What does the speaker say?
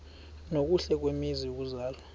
nokuhle kwizwe lokuzalwa